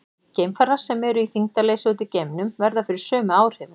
Geimfarar sem eru í þyngdarleysi úti í geimnum verða fyrir sömu áhrifum.